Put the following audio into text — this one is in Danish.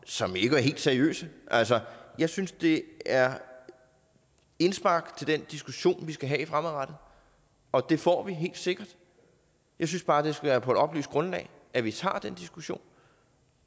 som ikke var helt seriøse altså jeg synes det er indspark til den diskussion vi skal have fremadrettet og det får vi helt sikkert jeg synes bare det skal være på et oplyst grundlag at vi tager den diskussion